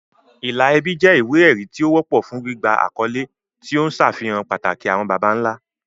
Ìlà ẹbí jẹ́ ìwé-ẹ̀rí tí ó wọ́pọ̀ fún gbígba àkọ́lé, tí ó ń ṣàfihàn pàtàkì àwọn baba ńlá.